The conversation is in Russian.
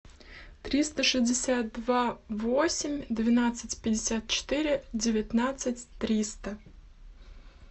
триста шестьдесят два восемь двенадцать пятьдесят четыре девятнадцать триста